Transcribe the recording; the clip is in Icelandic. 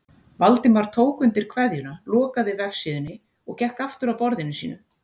Valdimar tók undir kveðjuna, lokaði vefsíðunni og gekk aftur að borðinu sínu.